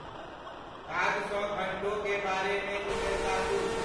काज सॅ घंटोंकें बारे मे ईमेल ताकु ।